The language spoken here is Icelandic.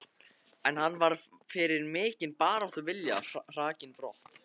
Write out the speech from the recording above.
En hann var fyrir mikinn baráttuvilja hrakinn brott.